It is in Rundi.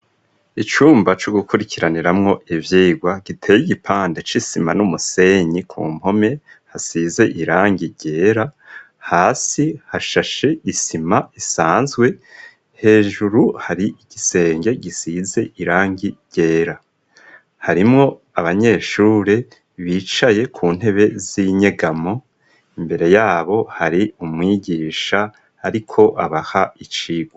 Icumba co gukurikiraniramwo ivyigwa giteye igipande c'isima n'umusenyi ku mpome hasize irangi ryera, hasi hashashe isima isanzwe hejuru hari igisenge gisize irangi ryera harimwo abanyeshure bicaye ku ntebe z'inyegamo imbere yabo hari umwigisha ariko abaha icigwa.